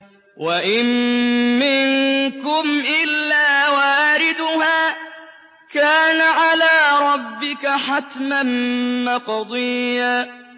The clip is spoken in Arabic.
وَإِن مِّنكُمْ إِلَّا وَارِدُهَا ۚ كَانَ عَلَىٰ رَبِّكَ حَتْمًا مَّقْضِيًّا